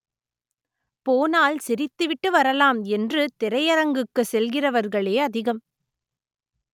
போனால் சி‌ரித்துவிட்டு வரலாம் என்று திரையரங்குக்கு செல்கிறவர்களே அதிகம்